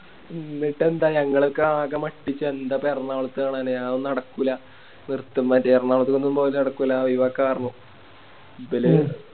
ന്നിട്ടെന്താ ഞങ്ങളൊക്കെ ആകെ മട്ടിച്ച് എന്താപ്പോ എറണാകുളത്ത് കാണാനി അതൊന്നും നടക്കൂല നിർത്ത് മതി പറഞ്ഞു എറണാകുളത്തൊന്നും പോവല് നടക്കൂല ഒഴിവാക്ക പറഞ്ഞു ഇബല്